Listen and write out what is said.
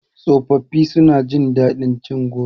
Tsofafi su na jin daɗin cin goro